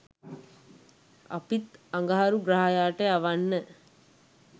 අපිත් අඟහරු ග්‍රහයාට යවන්න